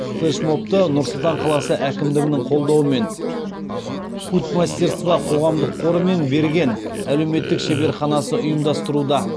флешмобты нұр сұлтан қаласы әкімдігінің қолдауымен путь мастерства қоғамдық қоры мен берген әлеуметтік шеберханасы ұйымдастыруда